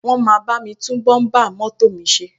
Wọ́n máa bá mi tún bọ́ḿbà mọ́tò mi ṣe